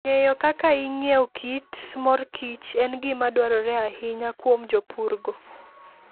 Ng'eyo kaka ing'iewo kit mor kich en gima dwarore ahinya kuom jopurgo.